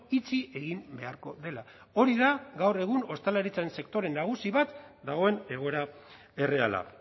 itxi egin beharko dela hori da gaur egun ostalaritzan sektore nagusi bat dagoen egoera erreala